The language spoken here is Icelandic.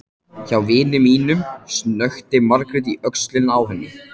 Hjá vini mínum, snökti Margrét í öxlina á henni.